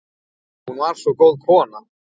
Hún var svo góð kona